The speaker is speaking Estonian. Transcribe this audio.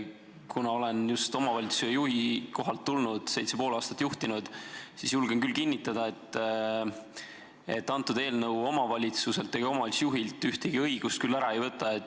Kuna olen siia just omavalitsuse juhi kohalt tulnud, seitse ja pool aastat olen omavalitsust juhtinud, siis julgen küll kinnitada, et antud eelnõu omavalitsuselt ega omavalitsusjuhilt ühtegi õigust ära ei võta.